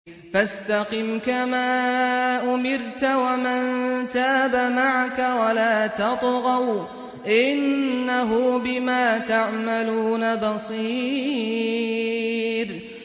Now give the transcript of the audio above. فَاسْتَقِمْ كَمَا أُمِرْتَ وَمَن تَابَ مَعَكَ وَلَا تَطْغَوْا ۚ إِنَّهُ بِمَا تَعْمَلُونَ بَصِيرٌ